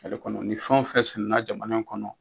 kɔnɔ ni fɛn fɛn sɛnɛna jamana in kɔnɔ.